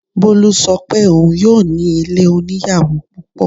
Bolu ṣọ pé òun yóò ní ilé oníyàwò púpọ̀.